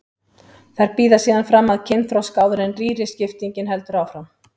Þær bíða síðan fram að kynþroska áður en rýriskiptingin heldur áfram.